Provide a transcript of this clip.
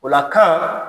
O la kan